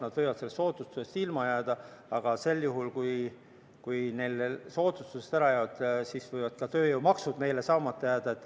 Nad võivad sellest soodustusest ilma jääda, aga sel juhul, kui neil soodustused ära jäävad, võivad ka tööjõumaksud meil saamata jääda.